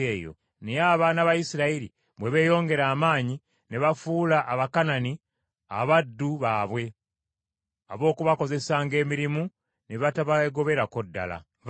Naye abaana ba Isirayiri bwe beeyongera amaanyi ne bafuula Abakanani abaddu baabwe ab’okubakozesanga emirimu, ne batabeegoberako ddala.